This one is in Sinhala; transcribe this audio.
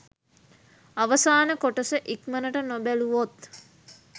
අවසාන කොටස ඉක්මනට නොබැලුවොත්